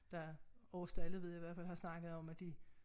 Der Aarsdale ved jeg i hvert fald har snakket om de